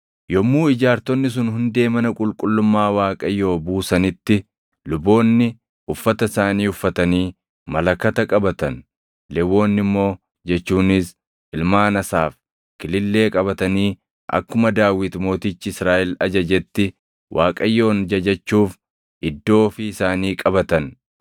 Yommuu ijaartonni sun hundee mana qulqullummaa Waaqayyoo buusanitti luboonni uffata isaanii uffatanii malakata qabatan; Lewwonni immoo jechuunis ilmaan Asaaf kilillee qabatanii akkuma Daawit Mootichi Israaʼel ajajetti Waaqayyoon jajachuuf iddoo ofii isaanii qabatan.